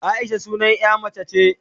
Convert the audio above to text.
Aisha sunan ƴa mace be